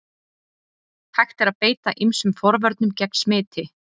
Hægt er að beita ýmsum forvörnum gegn smiti.